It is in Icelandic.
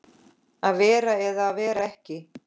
Að vera eða vera ekki.